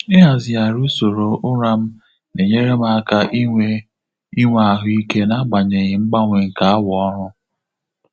Ịhazigharị usoro ụra m na-enyere m aka inwe inwe ahụ ike n'agbanyeghị mgbanwe nke awa ọrụ.